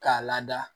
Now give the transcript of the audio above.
K'a lada